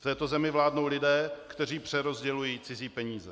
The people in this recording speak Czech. V této zemi vládnou lidé, kteří přerozdělují cizí peníze.